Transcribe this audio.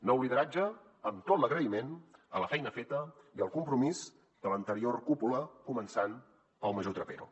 nou lideratge amb tot l’agraïment a la feina feta i el compromís de l’anterior cúpula començant pel major trapero